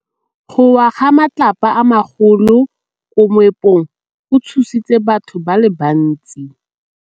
Go wa ga matlapa a magolo ko moepong go tshositse batho ba le bantsi.